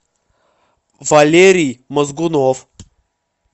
валерий мозгунов